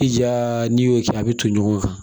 I ja n'i y'o kɛ a bɛ ton ɲɔgɔn kan